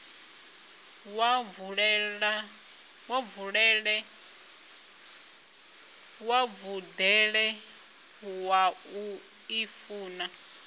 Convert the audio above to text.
wa vhudele wa u ḓifuna